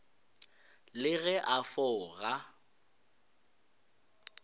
le ge a pho ga